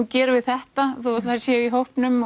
gerum við þetta þó að þær séu í hópnum